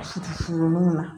Sifinnunw na